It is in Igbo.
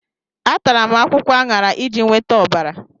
Atara m akwụkwọ aṅara iji nweta ọbara.